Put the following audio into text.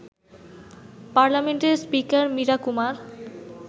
পার্লামেন্টের স্পিকার মীরা কুমার